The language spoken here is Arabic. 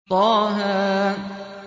طه